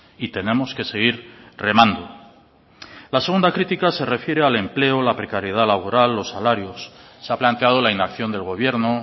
y tenemos que seguir remando la segunda crítica se refiere al empleo la precariedad laboral los salarios se ha planteado la inacción del gobierno